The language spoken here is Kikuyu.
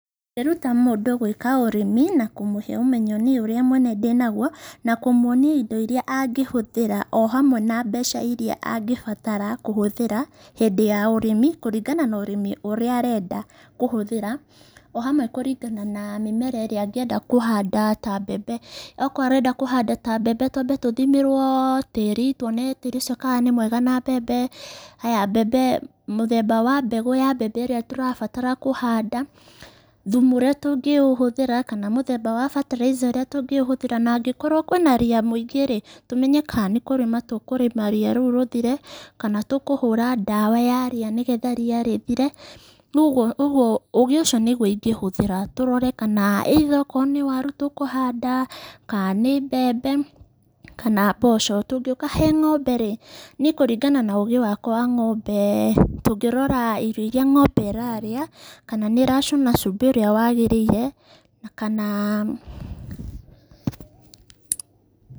Ndĩruta mũndũ gwĩka ũrĩmi, na kũmũhe ũmenyo niĩ ũrĩa mwene ndĩ naguo, na kũmuonia indo iria angĩhũthĩra,o hamwe na mbeca iria angĩbatara kũhũthĩra, hĩndĩ ya ũrĩmi, kũringana na ũrĩmi ũrĩa arenda kũhũthĩra,o hamwe kũringana na mĩmera ĩrĩa angĩenda kũhanda ta mbembe. Okorwo arenda kũhanda ta mbembe ta mbembe twambe tũthimĩrwo tĩri, tuone tĩri ũcio kana nĩ mwega na mbembe, mũthemba wa mbegũ ya mbembe ĩrĩa tũrabatara kũhanda. Thumu ũrĩa tũngĩhũthĩra kana mũthemba wa bataraitha ĩrĩa tũngĩhũthĩra. Na angĩkorwo kũrĩ na ria mũingĩ rĩ, tũmenye kana nĩ kũrĩma tũkũrĩma ria rĩu rĩthĩre, kana tũkũhũra ndawa ya ria nĩgetha ria rĩthire, Ũgĩ ũcio nĩguo ingĩhũthĩra tũrone kana, akorwo nĩ waru tũkũhanda ,kana okorwo nĩ mbembe kana nĩ mboco. Tũngĩũka harĩ ng'ombe rĩ ,niĩ kũringana na ũgĩ wakwa wa ng'ombe, tũngĩrora irio iria ng'ombe ĩrarĩa ,kana nĩ ĩracũna cumbĩ ũrĩa yagĩrĩire na kana.